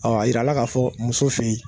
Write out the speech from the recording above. Ɔ a yira la k'a fɔ muso fɛ yen